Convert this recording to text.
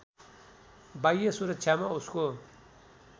बाह्य सुरक्षामा उसको